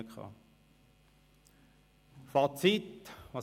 Wie sieht das Fazit aus?